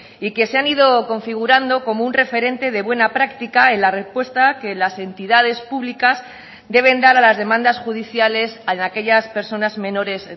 y que se han ido configurando como un referente de buena práctica en la respuesta que las entidades públicas deben dar a las demandas judiciales en aquellas personas menores